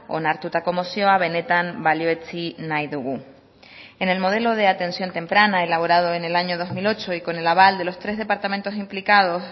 onartutako mozioa benetan balioetsi nahi dugu en el modelo de atención temprana elaborado en el año dos mil ocho y con el aval de los tres departamentos implicados